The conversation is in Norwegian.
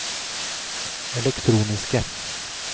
elektroniske